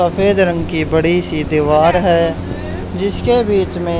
सफेद रंग की बड़ी सी दीवार है जिसके बीच में--